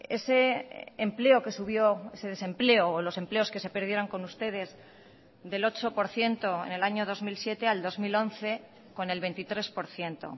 ese empleo que subió ese desempleo o los empleos que se perdieron con ustedes del ocho por ciento en el año dos mil siete al dos mil once con el veintitrés por ciento